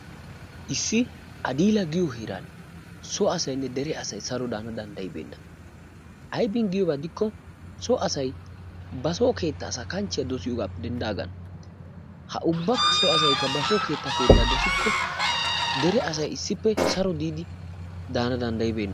Issi Adiila giyo heeran so asaynne dere asay saro daanawu danddayibeenna. Aybin giyaba keena gidikko so asay baso asaa xallaa dosiyogaappe denddaagaana. Ha ubba asaykka basoo keettaa keettaa dosikko dere asay issippe saro daanawu danddayibeenna.